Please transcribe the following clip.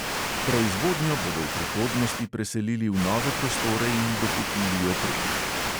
Proizvodnjo bodo v prihodnosti preselili v nove prostore in dokupili opremo.